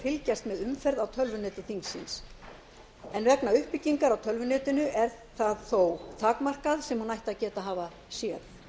fylgjast með umferð á tölvuneti þingsins en vegna uppbyggingar á tölvunetinu er það þó takmarkað sem hún ætti að geta hafa séð